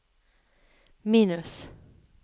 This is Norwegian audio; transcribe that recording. minus